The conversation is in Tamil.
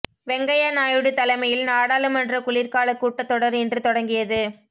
வெங்கய்யா நாயுடு தலைமையில் நாடாளுமன்ற குளிர்கால கூட்டத் தொடர் இன்று தொடங்கியது